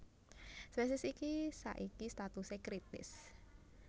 Spésiés iki saiki statusé kritis